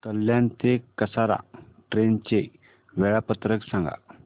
कल्याण ते कसारा ट्रेन चे वेळापत्रक सांगा